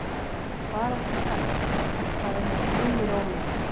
Svaraðu strax, sagði hann þrumurómi.